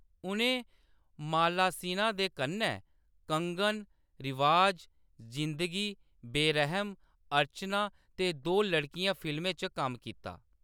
उʼनें माला सिन्हा दे कन्नै कंगन, रिवाज, जिंदगी, बेरह‌म, अर्चना ते दो लड़कियां फिल्में च कम्म कीता।